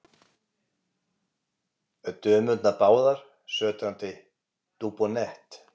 Dömurnar báðar sötrandi Dubonnet.